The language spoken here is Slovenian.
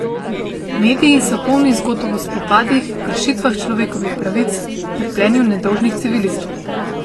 Mediji so polni zgodb o spopadih, kršitvah človekovih pravic, trpljenju nedolžnih civilistov.